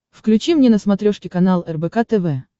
включи мне на смотрешке канал рбк тв